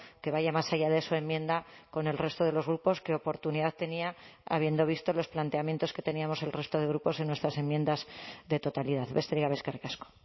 que vaya más allá de su enmienda con el resto de los grupos que oportunidad tenía habiendo visto los planteamientos que teníamos el resto de grupos en nuestras enmiendas de totalidad besterik gabe eskerrik asko